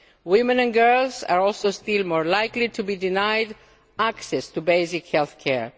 Women and girls are also still more likely to be denied access to basic healthcare.